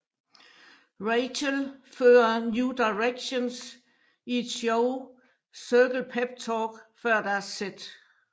Rachel fører New Directions i et show cirkel peptalk før deres sæt